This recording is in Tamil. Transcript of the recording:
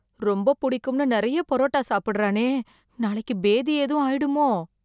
ரொம்ப புடிக்கும்னு நெறைய புரோட்டா சாப்புடறானே, நாளைக்கு பேதி ஏதும் ஆயிடுமோ?